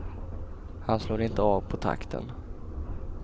Han slår inte av på takten.